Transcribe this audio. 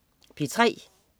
P3: